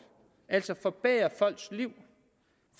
altså forbedrer folks liv